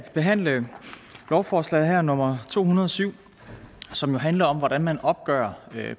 behandle lovforslag nummer to hundrede og syv som handler om hvordan man opgør